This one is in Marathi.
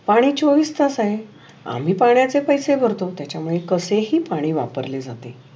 पाणी चौविस तस आहे. आम्ही पणाचे पैसे भरतो. त्याच्या मुळे कशेही पाणी वापरले जाते.